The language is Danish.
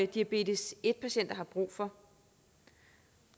diabetes en patienter har brug for